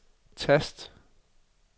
tast